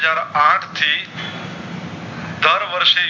આઠ થી દર વર્ષ